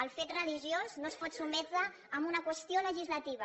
el fet religiós no es pot sotmetre a una qüestió legislativa